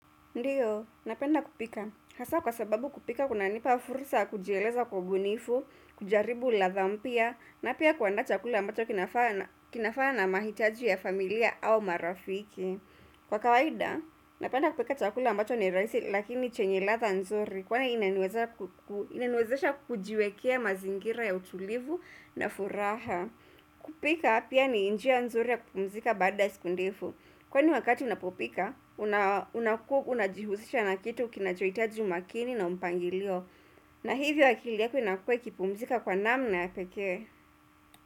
Ndiyo, napenda kupika. Hasa kwa sababu kupika, kunanipa fursa ya kujieleza kwa ubunifu, kujaribu ladha mpya, na pia kuandaa chakula ambacho kinafaa na mahitaji ya familia au marafiki. Kwa kawaida, napenda kupika chakula ambacho ni rahisi, lakini chenye ladha nzuri, kwa inaniwezesha kujiwekea mazingira ya utulivu na furaha. Kupika pia ni njia nzuri ya kupumzika baada ya siku ndefu Kwani wakati unapopika, unakuwa unajihusisha na kitu kinachohitaji umakini na mpangilio na hivyo akili yako inakuwa ikipumzika kwa namna ya pekee.